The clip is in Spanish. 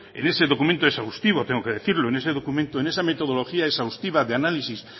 en ese documento exhaustivo tengo que decirlo en ese documento en esa metodología exhaustiva de análisis